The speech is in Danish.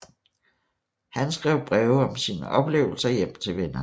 Han skrev breve om sine oplevelser hjem til vennerne